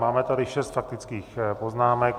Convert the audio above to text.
Máme tady šest faktických poznámek.